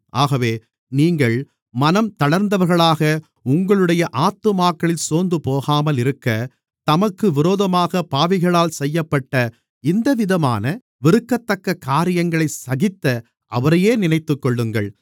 ஆகவே நீங்கள் மனம் தளர்ந்தவர்களாக உங்களுடைய ஆத்துமாக்களில் சோர்ந்துபோகாமல் இருக்க தமக்கு விரோதமாகப் பாவிகளால் செய்யப்பட்ட இந்தவிதமான வெறுக்கத்தக்க காரியங்களைச் சகித்த அவரையே நினைத்துக்கொள்ளுங்கள்